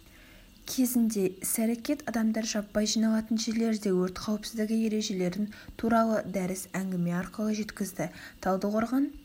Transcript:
кезінде іс-әрекет адамдар жаппай жиналатын жерлерде өрт қауіпсіздігі ережелерін туралы дәріс әңгіме арқылы жеткізді талдықорған